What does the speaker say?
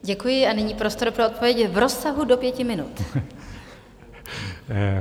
Děkuji a nyní prostor pro odpověď v rozsahu do 5 minut.